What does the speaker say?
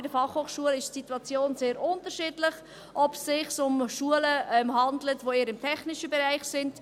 Bei den Fachhochschulen ist die Situation sehr unterschiedlich, zum Beispiel, wenn es sich um Schulen handelt, die eher im technischen Bereich sind.